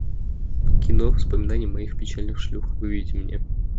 кино воспоминания моих печальных шлюх выведи мне